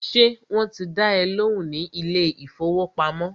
Ṣé wọ́n ti dá ẹ lóhùn ní ilé ìfọwọ́pamo?